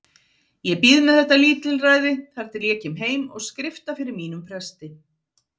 Ég bíð með þetta lítilræði þar til ég kem heim og skrifta fyrir mínum presti.